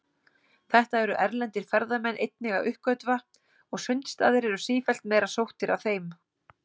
Þetta eru erlendir ferðamenn einnig að uppgötva, og sundstaðir eru sífellt meira sóttir af þeim.